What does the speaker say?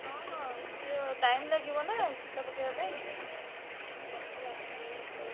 ହଁ ହଁ ସିଏ time ଲାଗିବନା ଚିତା ପକେଇବା ପାଇଁ। ସେମାନେ ସବୁ ଆସିଯିବେ ସକାଳୁ।